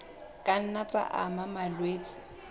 ka nna tsa ama malwetse